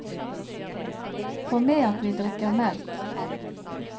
Få med at vi drikker melk.